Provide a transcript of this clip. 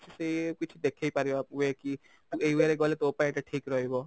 ସେଇ ଇଏ କିଛି ଦେଖେଇପାରିବା way କି ଏଇ way ରେ ଗଲେ ତୋ ପାଇଁ ଏଇଟା ଠିକ ରହିବ